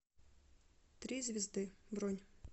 три звезды бронь